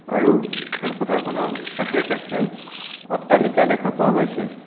আৰু খেলপথাৰখনৰ কাষে কাষে অট্টালিকা দেখা পোৱা গৈছে.